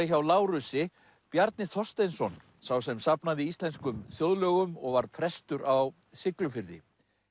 hjá Lárusi Bjarni Þorsteinsson sá sem safnaði íslenskum þjóðlögum og var prestur á Siglufirði